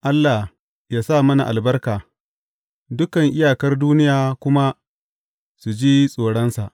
Allah yă sa mana albarka, dukan iyakar duniya kuma su ji tsoronsa.